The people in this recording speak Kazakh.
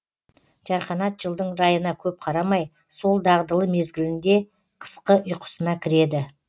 жарқанат жылдың райына көп қарамай сол дағдылы мезгілінде қысқы ұйқысына кіреді